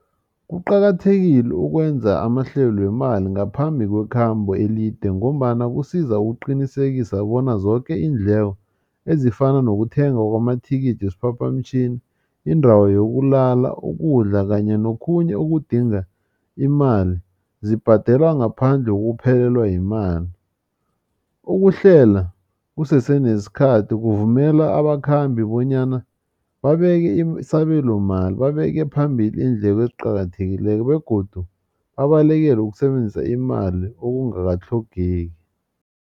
Kuqakathekile ukwenza amahlelo wemali ngaphambi kwekhambo elide ngombana kusiza ukuqinisekisa bona zoke iindleko ezifana nokuthenga kwamathikithi wesiphaphamtjhini indawo yokulala ukudla kanye nokhunye okudinga imali zibhadelwa ngaphandle kokuphelelwa yimali ukuhlela kusese nesikhathi kuvumela abakhambi bonyana babeke isabelomali babeke phambili iindleko eziqakathekileko begodu babalekele ukusebenzisa imali okungakatlhogeki.